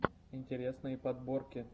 интересные подборки